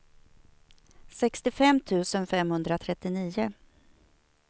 sextiofem tusen femhundratrettionio